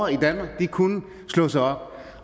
i danmark kunne slå sig op